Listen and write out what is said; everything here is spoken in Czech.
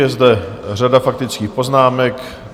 Je zde řada faktických poznámek.